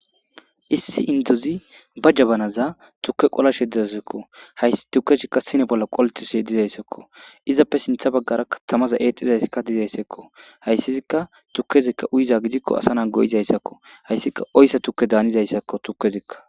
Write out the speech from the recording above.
Issi indize ba jabanazan tuke qolashe dizayisazakko haysi tukezika sine bolla qolletishe dizaysazakko izzappe sintha bagaraka tamazi exishe dizaysakko haysazika tukezi uyiza gidikko asa na go'isazakko haysika oysa tuke danizaysako tukezika.